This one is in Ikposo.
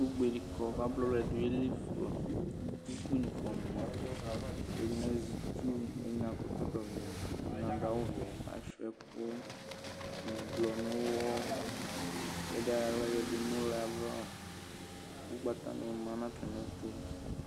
Ugbe dikɔ kʋ abla ʋlɛni dʋ yelifa kʋ ukpi ni fuama ɛdini azɛ itsu ɛdini akɔ ɛkɔtɔvɛ kʋ ɛdini adʋ awʋvɛ asuia ɛkɔ ʋblɔ nʋ ʋwɔ ɛdi ayɔ ʋwɔ yadʋ nʋ ʋlɛ ava ʋgbatani ni kɔ nʋ atami ɛtʋ